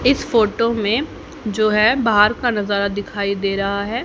इस फोटो में जो है बाहर का नजारा दिखाई दे रहा है।